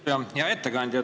Hea ettekandja!